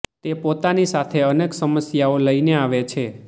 તે પોતાની સાથે અનેક સમસ્યાઓ લઇને આવે છે